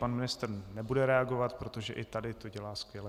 Pan ministr nebude reagovat, protože i tady to dělá skvěle.